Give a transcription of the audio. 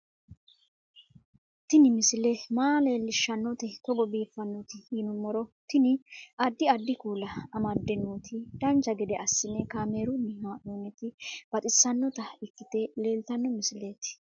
Tini misile maa leellishshannote togo biiffinoti yinummoro tini. addi addi kuula amadde nooti dancha gede assine kaamerunni haa'noonniti baxissannota ikkite leeltanno misileeti